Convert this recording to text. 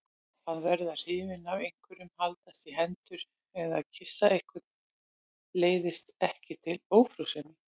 Að verða hrifinn af einhverjum, haldast í hendur eða kyssa einhvern leiðir ekki til ófrjósemi.